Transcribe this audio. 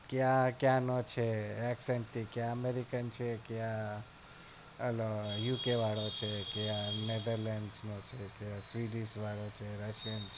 કે આ ક્યાંનો છે accent થી આ american છે કે આલો UK વાળો છે કે આ netherland વાળો છે કે russian છે